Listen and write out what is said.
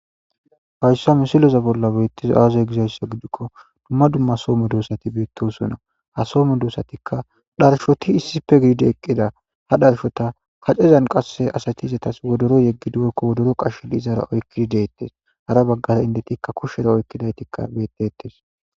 Haysa mosileza bola betizay aze gizaysa gidiko dumma dumma Soho medosati betosona ha Soho medosatika dharshoti issipe gididi eqida ha dharshota kacezan asati izetas wodoro yegidi woyko qachidi detes ha bagara indetika kushera oykidayti betetes